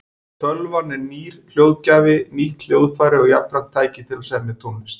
Tölvan er nýr hljóðgjafi, nýtt hljóðfæri og jafnframt tæki til að semja tónlist.